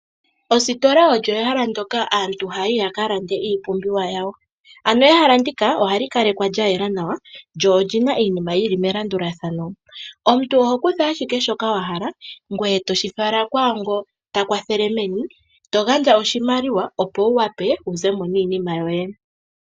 Ositola olyo ehala ndoka aantu haya yi ya ka lande iipumbiwa yawo. Ano ehala ndika oha li kalekwa lya yela nawa, lyo oli na iinima yi li melandulathano. Omuntu oho kutha ashike shoka wahala ngweye toshi fala kwaango ta kwathele meni, to gandja oshimaliwa opo wu wape wu ze mo niinima yoye.